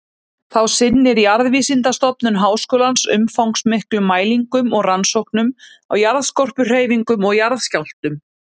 Þá sinnir Jarðvísindastofnun Háskólans umfangsmiklum mælingum og rannsóknum á jarðskorpuhreyfingum og jarðskjálftum.